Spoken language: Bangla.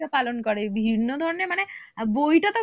পালন করে বিভিন্ন ধরনের মানে বইটা তো